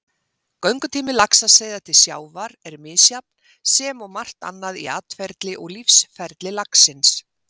Göngutími laxaseiða til sjávar er misjafn sem og margt annað í atferli og lífsferli laxins.